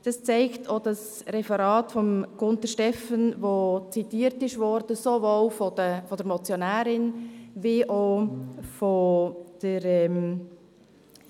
Dies zeigt auch das Referat von Gunter Stephan, welcher sowohl von der Motionärin als auch vonseiten der Regierung.